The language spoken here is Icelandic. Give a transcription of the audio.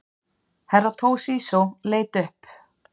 Herra Toshizo leit upp.